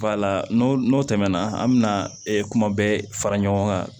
n'o n'o tɛmɛna an bɛ na kuma bɛɛ fara ɲɔgɔn kan